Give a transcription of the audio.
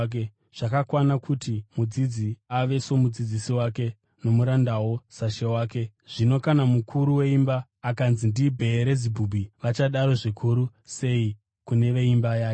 Zvakakwana kuti mudzidzi ave somudzidzisi wake nomurandawo sashe wake. Zvino kana mukuru weimba akanzi ndiBheerizebhubhi, vachadaro zvikuru sei kune veimba yake!